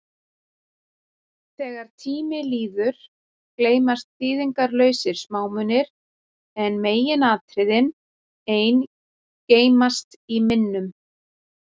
Þegar tími líður, gleymast þýðingarlausir smámunir, en meginatriðin ein geymast í minnum.